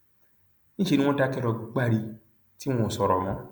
níṣẹ ni wọn dákẹ lọ gbári tí wọn ò sọrọ mọ